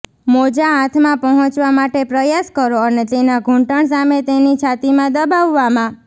મોજાં હાથમાં પહોંચવા માટે પ્રયાસ કરો અને તેના ઘૂંટણ સામે તેની છાતીમાં દબાવવામાં